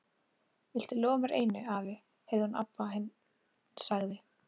Viltu lofa mér einu, afi, heyrði hún að Abba hin sagði.